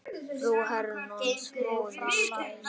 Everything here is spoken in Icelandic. Frú er Herrans móðir skær.